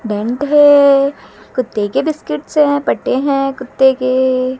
belt है कुत्ते के बिस्किटस् है से पट्टे हैं कुत्ते के--